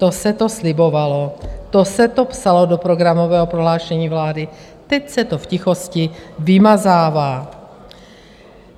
To se to slibovalo, to se to psalo do programového prohlášení vlády, teď se to v tichosti vymazává.